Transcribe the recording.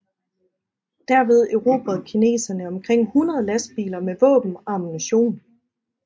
Derved erobrede kineserne omkring 100 lastbiler med våben og ammunition